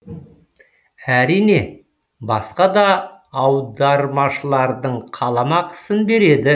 әрине басқа да аудармашылардың қаламақысын береді